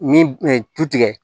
Ni tu tigɛ